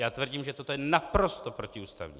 Já tvrdím, že toto je naprosto protiústavní.